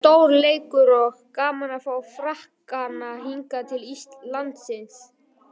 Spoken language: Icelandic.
Þetta er stór leikur og gaman að fá Frakkana hingað til landsins.